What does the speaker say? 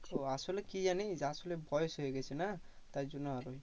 আসলে কি জানিস আসলে বয়স হয়ে গেছে না তাই জন্য আরো